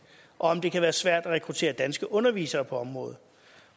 og om det kan være svært at rekruttere danske undervisere på området